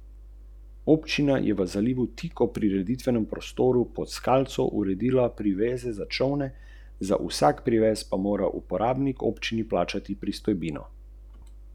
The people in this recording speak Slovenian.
Mednarodni olimpijski komite je v teh dneh zgrožen nad mnogimi pritožbami športnikov v zvezi s slabo kvaliteto zraka in v zvezi s tem ne kaže razumevanja.